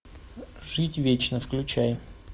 жить вечно включай